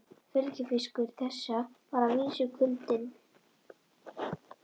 Fylgifiskur þess var að vísu kuldinn.